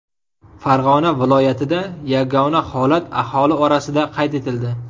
Farg‘ona viloyatida yagona holat aholi orasida qayd etildi .